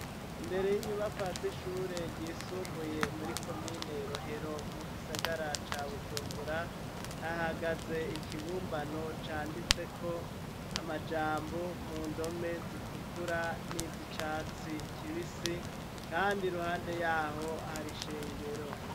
Imbere y'inyubako azishure ryisumbuye muri ko minelohero mu gisagara ca bujumbura ahagaze ikibumbano canditseko amajambo mu ndome zitukura n'izi icatsi kibisi, kandi ruhande yaho hari ishengero.